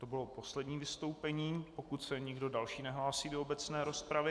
To bylo poslední vystoupení, pokud se nikdo další nehlásí do obecné rozpravy.